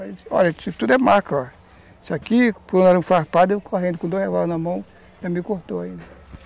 Olha, isso tudo é marca , ó. Isso aqui, com arame farpado, eu correndo com dois revólveres na mão, me cortou.